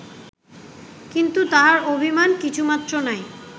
কিন্তু তাঁহার অভিমান কিছুমাত্র নাই